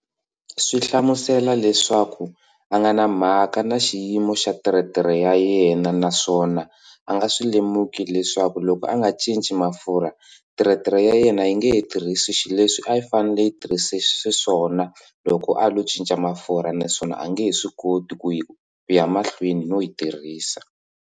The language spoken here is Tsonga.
Swi hlamusela leswaku a nga na mhaka na xiyimo xa teretere ya yena naswona a nga swi lemuki leswaku loko a nga cinci mafurha teretere ya yena yi nge he tirhisi xileswi a yi fanele yi tirhise xiswona loko a lo cinca mafurha naswona a nge he swi koti ku yi kuya mahlweni no yi tirhisa.